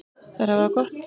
Þær hafa það gott.